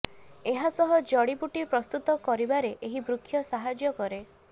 ଏହା ସହ ଜଡି ବୁଟି ପ୍ରସ୍ତୁତ କରିବାରେ ଏହି ବୃକ୍ଷ ସାହାଯ୍ୟ କରେ